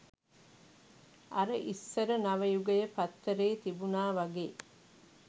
අර ඉස්සර නවයුගය පත්තරේ තිබුණා වගේ